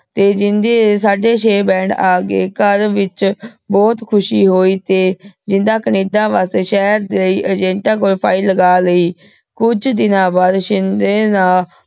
ਤੇ ਜਿੰਦੇ ਦੇ ਸਾਡੇ ਚੇ band ਅਗੇ ਘਰ ਵਿਚ ਬੋਹਤ ਖੁਸ਼ੀ ਹੋਈ ਤੇ ਜਿੰਦਾ ਕੈਨੇਡਾ ਵਾਸ੍ਟੀ ਸ਼ੇਹਰ ਦੇ ਅਗੇੰਤਾਂ ਕੋਲ file ਲਗਾ ਲੈ ਕੁਛ ਦਿਨਾਂ ਬਾਅਦ ਸ਼ਿੰਦੇ ਨਾ